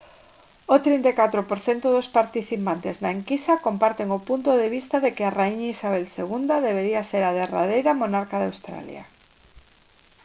o 34 % dos participantes na enquisa comparten o punto de vista de que a raíña isabel ii debería ser a derradeira monarca de australia